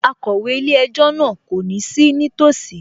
Akọ̀wé ilé-ẹjọ́ náà kò ní sí nítòsí